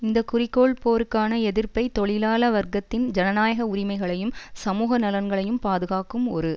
இந்த குறிக்கோள் போருக்கான எதிர்ப்பை தொழிலாள வர்க்கத்தின் ஜனநாயக உரிமைகளையும் சமூக நலன்களையும் பாதுகாக்கும் ஒரு